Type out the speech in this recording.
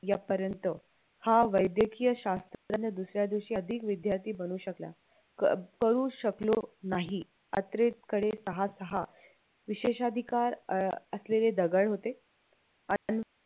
यापर्यंत हा वाद्यकीय शास्त्रज्ञ दुसऱ्या दिवशी विद्यार्थी बनू शकला पळू शकलो नाही कडे सहा सहा विशेष अधिकार असलेले दगड होते आणि